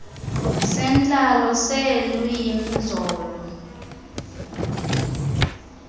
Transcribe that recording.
sentlalo seelwimi zolo